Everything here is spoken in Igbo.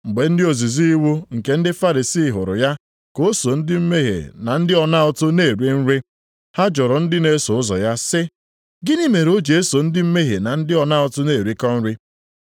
Mgbe ndị ozizi iwu nke ndị Farisii hụrụ ya ka o so ndị mmehie na ndị ọna ụtụ na-eri nri, ha jụrụ ndị na-eso ụzọ ya sị, “Gịnị mere o ji eso ndị mmehie na ndị ọna ụtụ na-erikọ nri?”